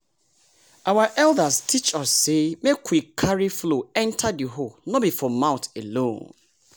our elders teach us say make we carry flow enter the hoe no be for mouth alone.